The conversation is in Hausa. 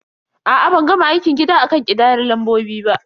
A'a, ban gama aikin gida akan ƙidayar lambobin ba.